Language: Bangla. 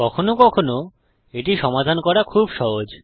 কখনও কখনও এটি সমাধান করা খুব সহজ